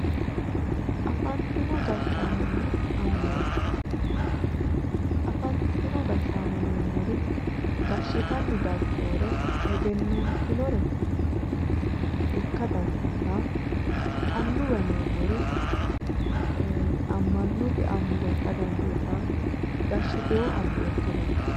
Afantino gashshaanonna annuwa afantino gashshaano yineemmori gashshitanni daggeewore egennatinore ikka dandiitawo annuwa yineemmori amma'note annuwa ikka dandiitawo eee gashshitewo annuwa ikka dandiitawo